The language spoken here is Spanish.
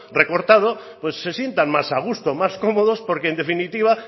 recortado pues se sientan más a gusto más cómodos porque en definitiva